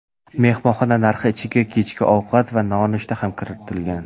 Mehmonxona narxi ichiga kechki ovqat va nonushta ham kiritilgan.